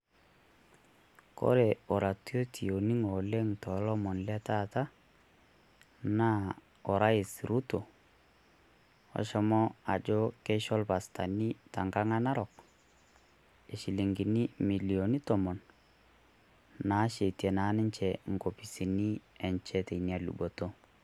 Kore oratioti orning'o oleng' toolomoni letaata, naa orais Ruto loshomo ajo tengang' Enarok keisho irpasani imilioni Tomon naasheti naa ninche enkopisini enye teina luboto.